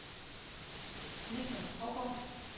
Niklas Hougaard